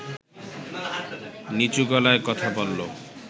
নিচু গলায় কথা বলল